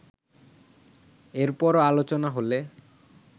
এর পরও আলোচনা হলে